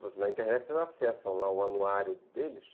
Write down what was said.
Na internet vocês acessam lá o anuário deles.